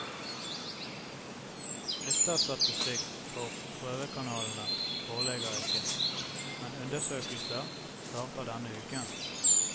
Lytterstatistikk for prøvekanalene foreligger ikke, men undersøkelser starter denne uken.